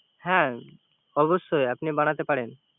হ্যা অবশ্যই, আপনি বানাতে পারেন